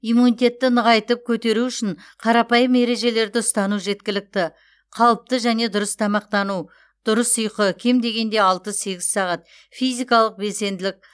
иммунитетті нығайтып көтеру үшін қарапайым ережелерді ұстану жеткілікті қалыпты және дұрыс тамақтану дұрыс ұйқы кем дегенде алты сегіз сағат физикалық белсенділік